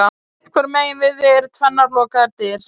Sitt hvoru megin við þig eru tvennar lokaðar dyr.